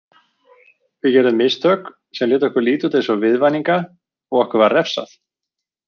Við gerðum mistök sem létu okkur líta út eins og viðvaninga og okkur var refsað.